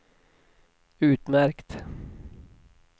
utmärkt